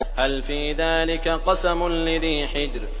هَلْ فِي ذَٰلِكَ قَسَمٌ لِّذِي حِجْرٍ